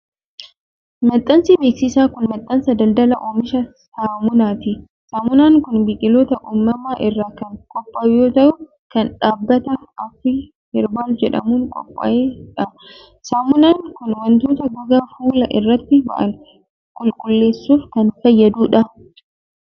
Maxxansi beeksisaa kun, maxxansa daldalaa oomisha saamunaati. Saamunaan kun, biqiloota uumamaa irraa kan qophaa'u yoo ta'u, kan dhaabbata Afrii Herbaal jedhamuun qophaa'e dha. Saamunaan kun, wantoota gogaa fuulaa irratti ba'an qulqulleessuuf kan fayyaduu dha.